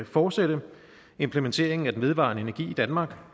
fortsætte implementeringen af den vedvarende energi i danmark